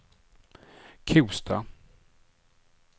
Kosta